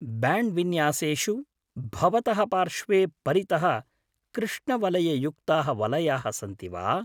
Band विन्यासेषु भवतः पार्श्वे परितः कृष्णवलययुक्ताः वलयाः सन्ति वा?